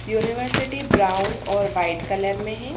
University brown और white colour में है।